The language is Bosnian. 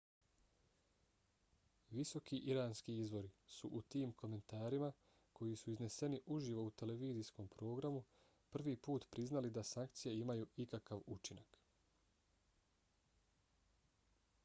visoki iranski izvori su u tim komentarima koji su izneseni uživo u televizijskom programu prvi put priznali da sankcije imaju ikakav učinak